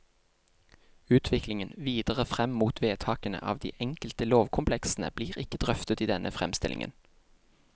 Utviklingen videre fram mot vedtakene av de enkelte lovkompleksene blir ikke drøftet i denne framstillingen.